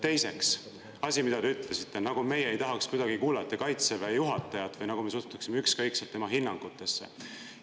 Teiseks – asi, mida te ütlesite, nagu me ei tahaks kuidagi kuulata kaitseväe juhatajat või nagu me suhtuksime ükskõikselt tema hinnangutesse.